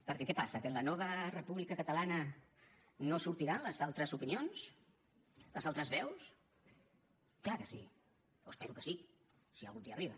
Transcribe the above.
perquè què passa que en la nova república catalana no sortiran les altres opinions les altres veus clar que sí o espero que sí si algun dia arriba